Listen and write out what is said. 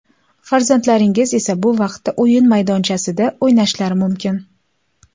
Farzandlaringiz esa bu vaqtda o‘yin maydonchasida o‘ynashlari mumkin.